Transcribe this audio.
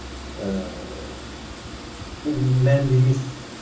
ыыы бұл мәнді емес